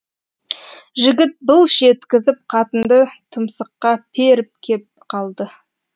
жігіт былш еткізіп қатынды тұмсыққа періп кеп қалды